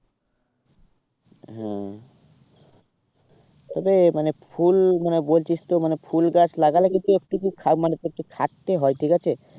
হ্যাঁ মানে ফুল মানে বলছিস তো মানে ফুল গাছ লাগালে কিন্তু একটুকু মানে খাটতে হয় ঠিক আছে।